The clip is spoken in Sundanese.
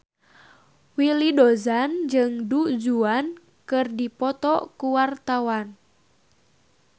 Willy Dozan jeung Du Juan keur dipoto ku wartawan